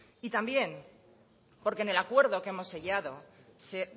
y también porque en acuerdo que hemos sellado se